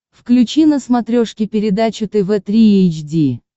включи на смотрешке передачу тв три эйч ди